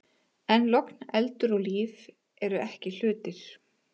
En logn, eldur og líf eru ekki hlutir.